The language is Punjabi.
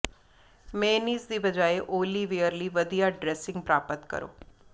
ਮੇਅਨੀਜ਼ ਦੀ ਬਜਾਏ ਓਲੀਵੀਅਰ ਲਈ ਵਧੀਆ ਡ੍ਰੈਸਿੰਗ ਪ੍ਰਾਪਤ ਕਰੋ